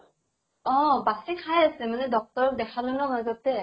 অʼ । বাছি খাই আছে মানে doctor ক দেখালে মাজতে ।